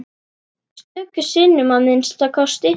Stöku sinnum að minnsta kosti.